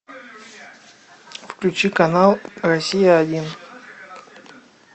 включи канал россия один